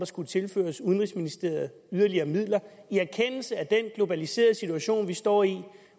skulle tilføre udenrigsministeriet yderligere midler i erkendelse af den globaliserede situation vi står i